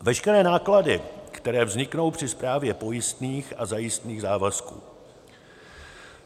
veškeré náklady, které vzniknou při správě pojistných a zajistných závazků.